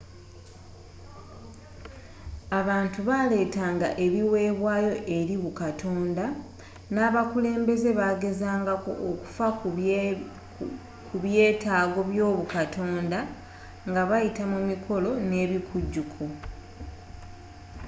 abantu baaletanga ebiweebwayo eri bukatonda n'abakulembeze bagezangako okufa ku byetaago by'obukatonda nga bayita mu mikolo n'ebikujjuko